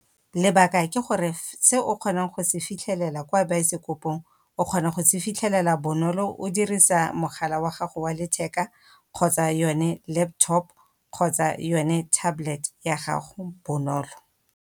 Lebaka ke gore, se o kgonang go se fitlhelela kwa baesekopong, o kgona go se fitlhelela bonolo o dirisa mogala wa gago wa letheka, kgotsa yone laptop kgotsa yone tablet ya gago bonolo.